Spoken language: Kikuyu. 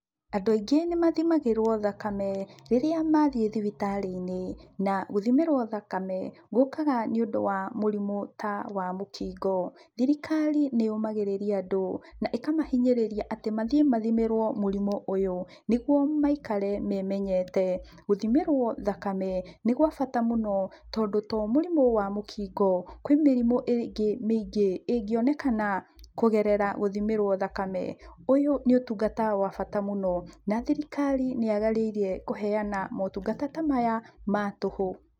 Andũ aingĩ nĩmathimagĩrwo thakame rĩrĩa mathiĩ thibitarĩ-inĩ, na gũthimĩrwo thakame gũkaga nĩũndũ wa mũrimũ ta wa mũkingo. Thirikari nĩyũmagĩrĩria andũ na ikamahinyĩrĩria atĩ mathiĩ mathimĩrwo mũrimũ ũyũ, nĩguo maikare memenyete. Gũthimĩrwo thakame nĩ gwa bata mũno, tondũ to mũrimũ wa mũkingo kwĩ mĩrimũ ĩngĩ mĩingĩ ĩngĩonekana kũgerera gũthimĩrwo thakame. Ũyũ nĩ ũtungata wa bata mũno na thirikari nĩyagĩrĩire kũhena motungata ta maya ma tũhũ.